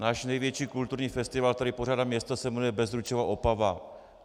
Náš největší kulturní festival, který pořádá město, se jmenuje Bezručova Opava.